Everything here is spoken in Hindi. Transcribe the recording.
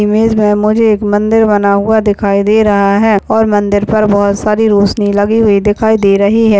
इमेज में मुझे एक मन्दिर बना हुआ दिखाई दे रहा है और मन्दिर पर बहुत सारी रोसनी लगी हुई दिखाई दे रही है।